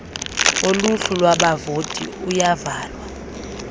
woluhlu lwabavoti uyavalwa